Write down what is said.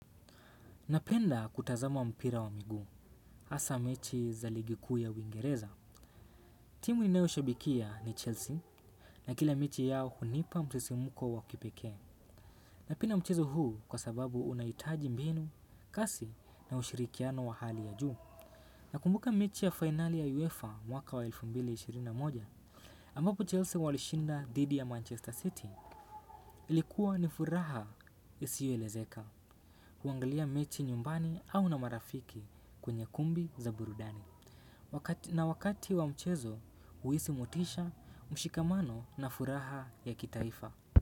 Napenda kutazama mpira wa miguu hasaa mechi za ligi kuu ya uingereza. Timu ninayo shabikia ni Chelsea na kila mechi yao hunipa msisimko wa kipekee. Napenda mchezo huu kwa sababu unahitaji mbinu, kasi na ushirikiano wa hali ya juu. Nakumbuka mechi ya finali ya UEFA mwaka wa elfu mbili na ishirini na moja. Ambapo Chelsea walishinda dhidi ya Manchester City ilikuwa ni furaha isiyo elezeka. Kuangalia mechi nyumbani au na marafiki kwenye kumbi za burudani na wakati wa mchezo huhisi motisha mshikamano na furaha ya kitaifa.